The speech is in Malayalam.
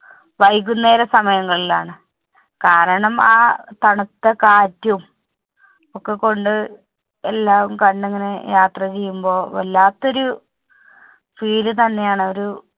വൈകുന്നേര സമയങ്ങളിൽ ആണ്. കാരണം ആ തണുത്ത കാറ്റും ഒക്കെ കൊണ്ട്, എല്ലാം കണ്ട് ഇങ്ങനെ യാത്ര ചെയുമ്പോൾ വല്ലാത്തൊരു feel തന്നെ ആണ് ഒരു